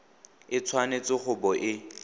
e tshwanetse go bo e